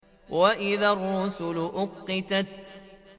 وَإِذَا الرُّسُلُ أُقِّتَتْ